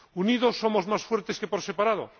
Unidos somos más fuertes que por separado.